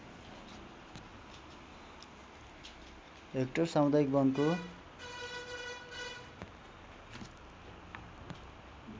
hectare सामुदायिक वनको